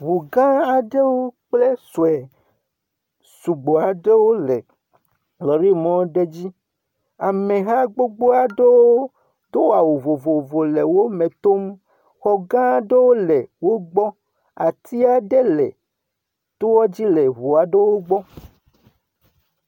Ŋu gã aɖewo kple sue sugbɔ aɖewo le lɔri mɔ aɖe dzi. Ame ha aɖewo do awu vovovowo le wo me tom. Xɔ gã aɖe wo le wogbɔ. Ati aɖe le toa dzi le ŋua ɖe wogbɔ